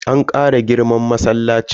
An Kara girman masallacin.